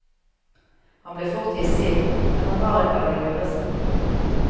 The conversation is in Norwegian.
Han ble fort hissig, men han var ikke av de lureste.